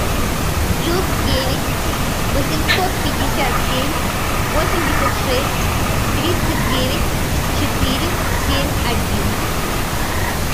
плюс девять восемьсот пятьдесят семь восемьдесят шесть тридцать девять четыре семь один